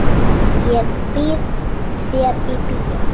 Ég býð þér í bíó.